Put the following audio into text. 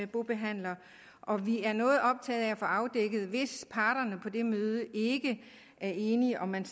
bobehandler og vi er noget optaget af at få afdækket hvis parterne på det møde ikke er enige om man